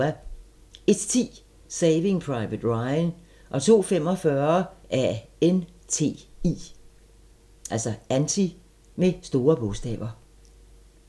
01:10: Saving Private Ryan 02:45: ANTI